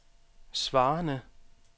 svarende